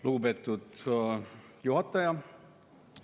Lugupeetud juhataja!